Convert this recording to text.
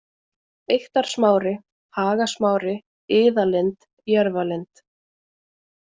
Eyktarsmári, Hagasmári, Iðalind, Jörfalind